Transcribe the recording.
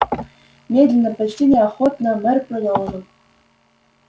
медленно почти неохотно мэр продолжил